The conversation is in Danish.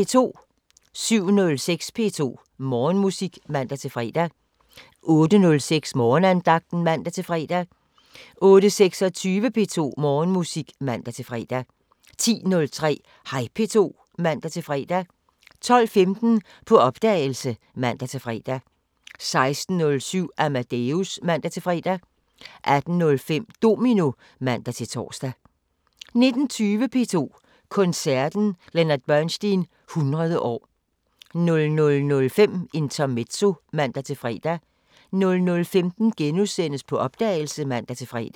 07:06: P2 Morgenmusik (man-fre) 08:06: Morgenandagten (man-fre) 08:26: P2 Morgenmusik (man-fre) 10:03: Hej P2 (man-fre) 12:15: På opdagelse (man-fre) 16:07: Amadeus (man-fre) 18:05: Domino (man-tor) 19:20: P2 Koncerten: Leonard Bernstein 100 år 00:05: Intermezzo (man-fre) 00:15: På opdagelse *(man-fre)